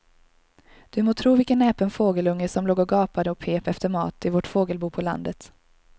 Du må tro vilken näpen fågelunge som låg och gapade och pep efter mat i vårt fågelbo på landet.